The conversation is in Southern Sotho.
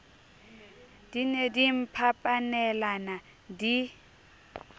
di ne di mphapanelana di